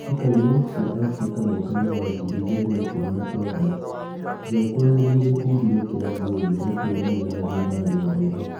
Mbĩ tĩ ka cia Afrika mwakainĩ wa ngiri igĩ rĩ na ikũmi na kenda: Njaũ kweherio gĩ kundinĩ kia Aljeria ni kuonanania nathutha nendainĩ .